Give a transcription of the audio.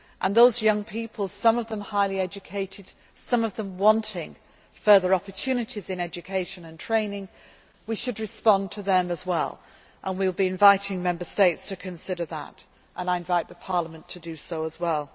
young society those young people, some of them highly educated, some of them wanting further opportunities in education and training we should respond to them as well, and we will be inviting Member States to consider that and I invite the Parliament to